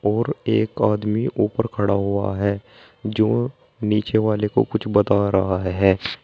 और एक आदमी ऊपर खड़ा हुआ है जो नीचे वाले को कुछ बता रहा है।